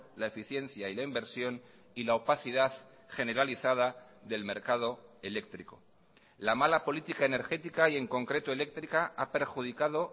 la eficiencia y la inversión y la opacidad generalizada del mercado eléctrico la mala política energética y en concreto eléctrica ha perjudicado